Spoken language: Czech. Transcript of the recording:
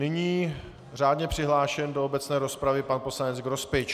Nyní řádně přihlášený do obecné rozpravy pan poslanec Grospič.